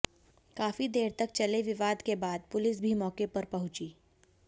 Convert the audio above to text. काफी देर तक चले विवाद के बाद पुलिस भी मौके पर पहुंची